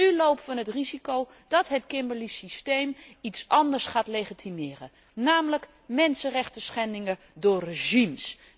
Maar nu lopen we het risico dat het Kimberly systeem iets anders gaat legitimeren, namelijk mensenrechtenschendingen door regimes.